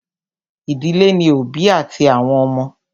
Ìdílé ní òbí àti àwọn ọmọ.